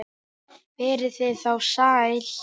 Verið þið þá sæl!